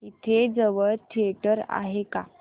इथे जवळ थिएटर आहे का